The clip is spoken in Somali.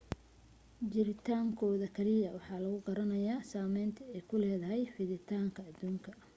jiritaankooda keliya waxa lagu garanayaa saameynta ay ku leedahay fiditaanka adduunka